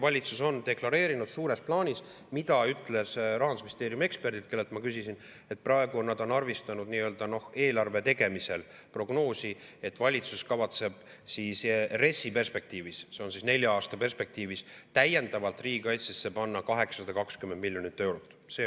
Valitsus on deklareerinud suures plaanis – seda ütlesid Rahandusministeeriumi eksperdid, kellelt ma küsisin –, et praegu nad on arvestanud eelarve tegemisel prognoosi, et valitsus kavatseb RES‑i perspektiivis, nelja aasta perspektiivis, täiendavalt riigikaitsesse panna 820 miljonit eurot.